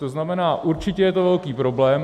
To znamená, určitě je to velký problém.